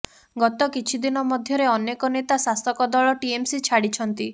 ଗତ କିଛି ଦିନ ମଧ୍ୟରେ ଅନେକ ନେତା ଶାସକ ଦଳ ଟିଏମସି ଛାଡିଛନ୍ତି